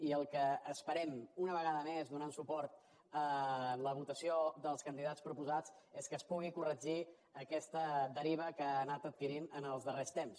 i el que esperem una vegada més donant suport a la votació dels candidats proposats és que es pugui corregir aquesta deriva que ha anat adquirint els darrers temps